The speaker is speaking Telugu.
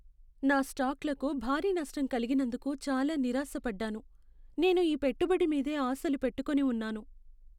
నా స్టాక్లకు భారీ నష్టం కలిగినందుకు చాలా నిరాశ పడ్డాను. నేను ఈ పెట్టుబడి మీదే ఆశలు పెట్టుకుని ఉన్నాను.